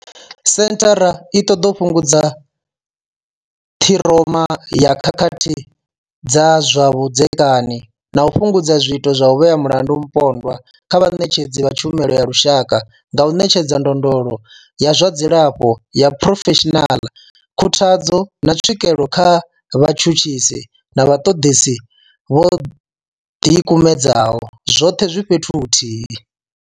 Senthara i ṱoḓa u fhungudza ṱhiroma ya khakhathi dza zwa vhudzekani na u fhungudza zwiito zwa u vhea mulandu mupondwa nga vhaṋetshedzi vha tshumelo ya lushaka nga u ṋetshedza ndondolo ya zwa dzilafho ya phurofeshinala, khuthadzo, na tswikelo kha vhatshutshisi na vhaṱoḓisi vho ḓi kumedzaho, zwoṱhe zwi fhethu huthihi.